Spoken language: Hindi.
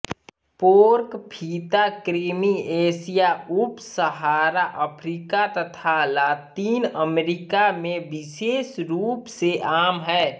पोर्क फीताकृमि एशिया उपसहारा अफ्रीका तथा लातिन अमरीका में विशेष रूप से आम है